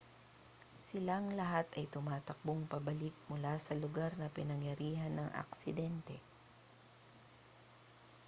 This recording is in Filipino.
silang lahat ay tumakbong pabalik mula sa lugar na pinangyarihan ng aksidente